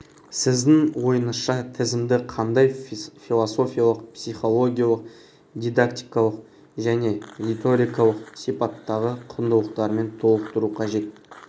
сіздің ойыңызша тізімді қандай философиялық психологиялық дидактикалық және риторикалық сипаттағы құндылықтармен толықтыру қажет